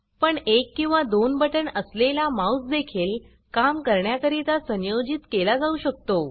पण एक किंवा दोन बटण असलेला माऊस देखील काम करण्याकरीता संयोजीत केला जाऊ शकतो